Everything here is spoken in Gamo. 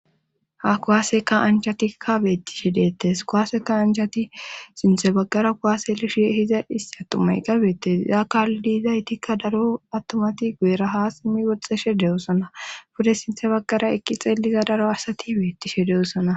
ha kowaaseka ancatikka beettishe deettes kowaaseka anjati sinthe baggara kowaaselishe hiza issatumay gabeette yaa kaalidiizaytikka daro attomati gueraha simmi woxxeshe de7osona pude sinthe baggara ekki xeelliza daro asati beettishe de7osona